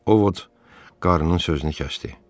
O Vod qarıının sözünü kəsdi.